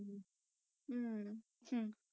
ਹਮ ਹਮ